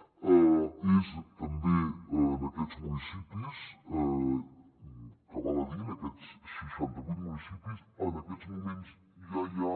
val a dir que en aquests seixantavuit municipis en aquests moments ja hi ha